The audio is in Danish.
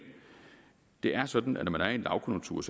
det er sådan at når man er i en lavkonjunktur